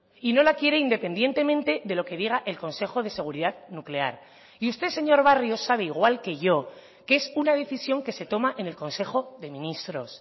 y no la quiere independientemente de lo que diga el consejo de seguridad nuclear y usted señor barrio sabe igual que yo que es una decisión que se toma en el consejo de ministros